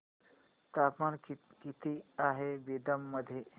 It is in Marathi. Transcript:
तापमान किती आहे बिदर मध्ये